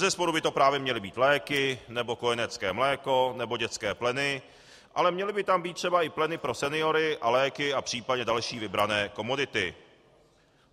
Bezesporu by to právě měly být léky nebo kojenecké mléko nebo dětské pleny, ale měly by tam být třeba i pleny pro seniory a léky a případně další vybrané komodity.